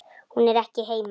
Hún er ekki heima.